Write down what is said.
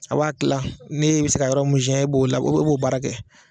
A b'a Kila ne bɛ se ka yɔrɔ mun siɛn e b'o la e b'o baara kɛ.